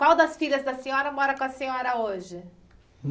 Qual das filhas da senhora mora com a senhora hoje?